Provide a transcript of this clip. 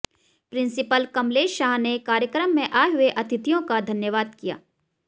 principal Kamlesh Shah ने कार्यक्रम में आए हुए अतिथियो का धन्यवाद किया